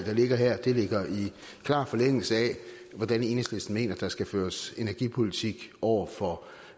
ligger her ligger i klar forlængelse af hvordan enhedslisten mener der skal føres energipolitik over for